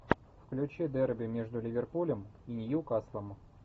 включи дерби между ливерпулем и ньюкаслом